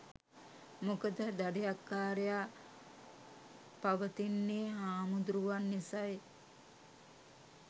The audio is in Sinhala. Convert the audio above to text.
මොකද දඩයක්කාරයා පවතින්නේ හාමුදරුවන් නිසයි.